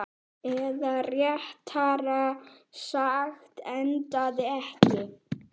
Eða réttara sagt, endaði ekki.